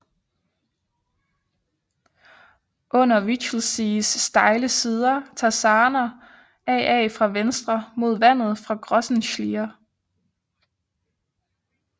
Under Wichelsees stejle sider tager Sarner Aa fra venstre mod vandet fra Grossen Schliere